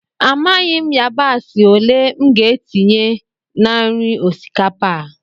Amaghị m yabasị ole m ga-etinye na nri osikapa a